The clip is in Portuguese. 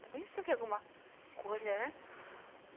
está pensando que é alguma coisa, né?